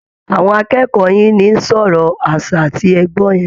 Àwọn akẹ́kọ̀ọ́ yín ni ń sọ ọ̀rọ̀ aṣa tí ẹ gbọ́ yẹn